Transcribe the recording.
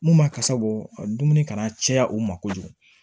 Mun ma kasa bɔ dumuni kana caya u ma kojugu